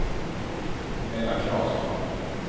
Ella Claesson